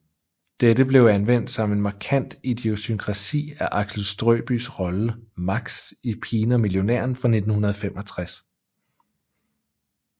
Dette blev anvendt som en markant idiosynkrasi af Axel Strøbyes rolle Max i Pigen og millionæren fra 1965